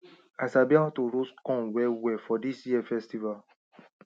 i sabi how to roast corn well well for this year festival